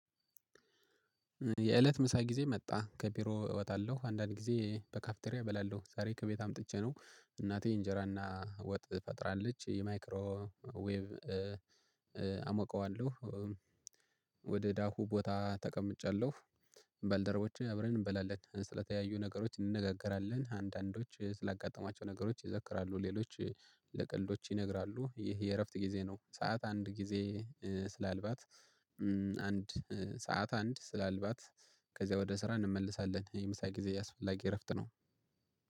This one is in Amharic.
የእለት ምሳ ጊዜ መጣ ከቢሮ እወጣለሁ አንዳንድ ጊዜ በካፍቴሪያ እበላለሁ ዛሬ ከቤት አምጥቼ ነው እናቴ እንጀራና ወጥ ቋጥራለች የማይክሮ ዌብ አሞቀዋለሁ። ወደ ዳሩ ቦታ ተቀምጫለሁ። ባለደርቦቼ አብረን እንበላለን ስለተለያዩ ነገሮች እንነጋገራለን አንዳንዶች ስላጋጠማቸው ነገሮች ይዘክራሉ ሌሎች ለቀልዶች ይነግራሉ። ይህ የእረፍት ጊዜ ነው። ሰዓት አንድ ጊዜ ስላልባት አንድ ሰዓት አንድ ስላልባት ከዚያ ወደ ስራ እንመለሳለን። የምሳ ጊዜ አስፈላጊ እረፍት ነው